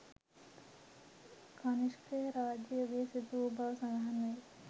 කනිෂ්ක රාජ යුගයේදී සිදු වූ බව සඳහන් වේ